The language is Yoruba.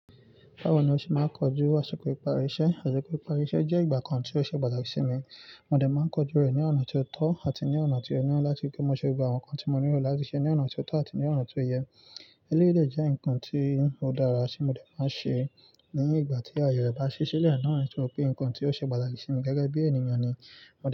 Báwo ni o ṣe máa ń kojú àsìkò ìparí iṣẹ́? Àsìkò ìparí iṣẹ́ jẹ́ ìgbà kan tí ó ṣe pàtàkì sí mi. Mo dẹ̀ máa ń kojú rẹ̀ ní ọ̀nà tó tọ́ àti ní ọ̀nà tí ó yẹ láti pé mo lè gba àwọn nǹkan tí mo nílò láti ṣe ní ọ̀nà tó tọ́ àti ní ọ̀nà tí ó yẹ. Eléyìí dẹ̀ jẹ́ nǹkan tí ó dára tí mo dẹ̀ máa ń ṣe ní ìgbà tí àyè rẹ̀ bá ṣí sílẹ̀ náà, nítorí pé nǹkan tí ó ṣe pàtàkì sí mi gẹ́gẹ́ bí ènìyàn ni.